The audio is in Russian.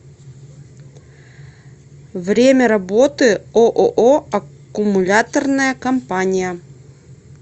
время работы ооо аккумуляторная компания